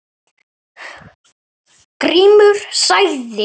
Grímur sagði